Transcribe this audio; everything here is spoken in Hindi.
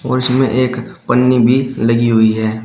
और इसमें एक पन्नी भी लगी हुई है।